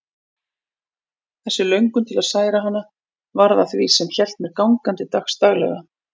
Þessi löngun til að særa hana varð að því sem hélt mér gangandi dagsdaglega.